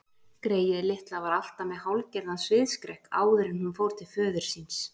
Greyið litla var alltaf með hálfgerðan sviðsskrekk áður en hún fór til föður síns.